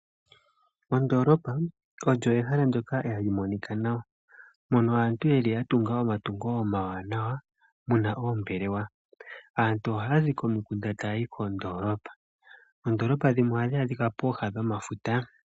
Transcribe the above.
Ondoloopa olyo ehala ndyoka ha li monika nawa, mono aantu yeli ya tunga omatungo omawanawa mu na oombelewa. Aantu ohaya zi komikunda taya yi kondoolopa. Oondoolopa dhimwe ohadhi adhika pooha dhomafuta.